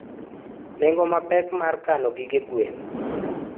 nengo mapek mar gige kano gige gwen.